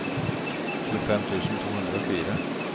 tjuefem tusen to hundre og fire